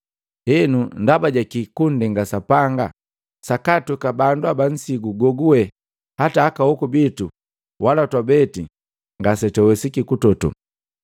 Henu, ndaba jaki kunndenga Sapanga sakaatweka bandu haba nsigu goguwe hata aka hoku bitu wala twabe ngasetwawesiki kutoto.